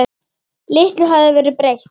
Litlu hafði verið breytt.